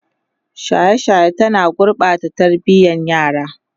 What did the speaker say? shaye shaye ta na gurɓata tarbiyan yara